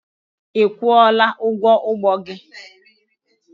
Ị kwụọla ụgwọ ụgbọ gị?